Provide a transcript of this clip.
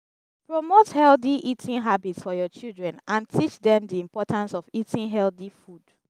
promote healthy eating habits for your children and teach dem di importance of eating healthy food